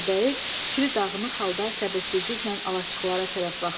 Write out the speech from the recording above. Meşəbəyi fikri dağınıq halda səbirsizliklə alaçıqlara tərəf baxdı.